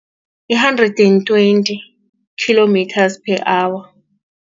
I-hundred and twenty kilometers per hour.